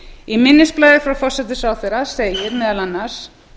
í minnisblaði frá forsætisráðherra segir meðal annars